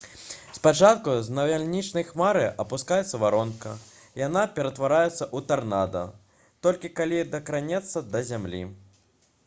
спачатку з навальнічнай хмары апускаецца варонка. яна ператвараецца ў «тарнада» толькі калі дакранаецца да зямлі